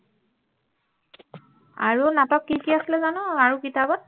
আৰু নাটক কি কি আছিলে জানো আৰু কিতাপত